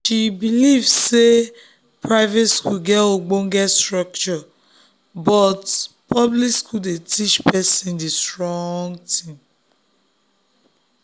she believe say private school get ogbonge structure but public school dey teach person to dey strong